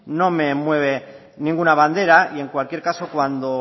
no me mueve ninguna bandera y en cualquier caso cuando